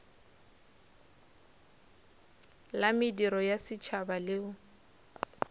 la mediro ya setšhaba leo